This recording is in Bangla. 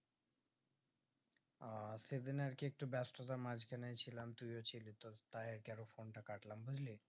আহ সেদিন একটু ব্যাস্ততার মাজখানে ছিলাম তুইও ছিলিস তো তাই আরকি আরো phone তা কাটলাম বুজলি